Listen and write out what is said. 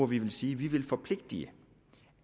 vi vil sige at vi vil forpligte